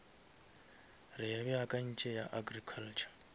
re beakantše ya agriculture